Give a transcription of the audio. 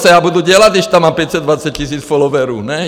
Co já budu dělat, když tam mám 520 000 followerů, ne?